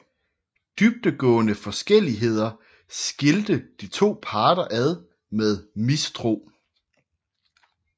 Dybdegående forskelligheder skilte de to parter ad med mistro